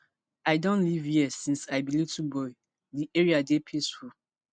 i don live hia since i be little boy di area dey peaceful